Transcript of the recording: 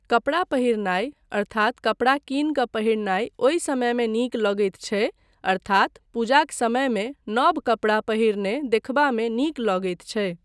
कपड़ा पहिरनाय अर्थात कपड़ा कीन कऽ पहिरनाय ओहि समयमे नीक लगैत छै अर्थात पूजाक समयमे नव कपड़ा पहिरने देखबामे नीक लगैत छै।